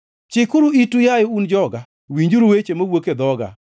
Chiknauru itu, yaye un joga, winjuru weche mawuok e dhoga.